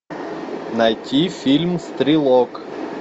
найти фильм стрелок